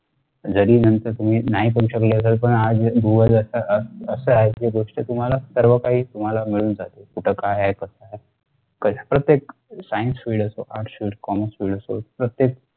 जरी नंतर तुम्ही नाही करू शकले तरी पण आज असे आहे की गोष्ट तुम्हाला सर्वकाही तुम्हाला मिळून जाते कुठं काय आहे कस आहे. प्रत्येक science field असो किंवा arts fieldcommerce field असो